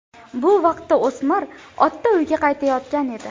Bu vaqtda o‘smir otda uyga qaytayotgan edi.